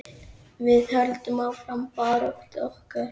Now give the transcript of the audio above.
Við höldum áfram baráttu okkar.